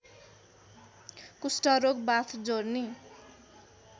कुष्ठरोग वाथ जोर्नी